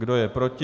Kdo je proti?